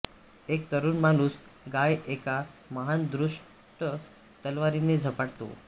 एक तरुण माणूस गाय एका महान दुष्ट तलवारीने झपाटतो